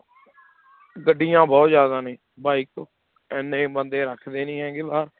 ਗੱਡੀਆਂ ਬਹੁੁਤ ਜ਼ਿਆਦਾ ਨੇ bike ਇੰਨੇ ਬੰਦੇ ਰੱਖਦੇ ਨੀ ਹੈੈਗੇ